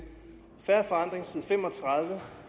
fair forandring side fem og tredive